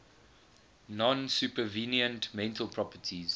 non supervenient mental properties